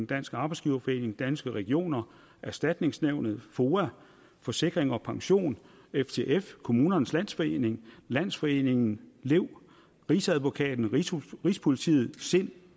dansk arbejdsgiverforening danske regioner erstatningsnævnet foa forsikring pension ftf kommunernes landsforening landsforeningen lev rigsadvokaten rigspolitiet sind og